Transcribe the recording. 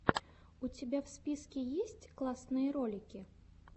у тебя в списке есть классные ролики